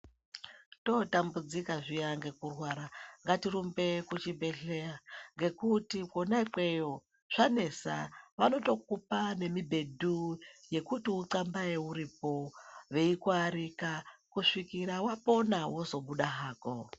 Totambudzika zviya ngekurwara ngatirumbe kuchibhedhleya ngekuti kwona ikweyo zvanesa vanotokupa nemibhedhu yekuti uthambeye uripo veikuarika kusvikira wapona wozobuda hako.